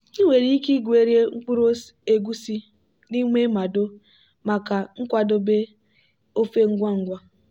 ọ na-ere achịcha bean e ghere eghe n'ụtụtụ ọ bụla n'akụkụ ebe a na-akpakọrịta ka ọ na-enweta ego ọ bụla.